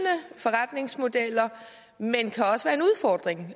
forretningsmodeller men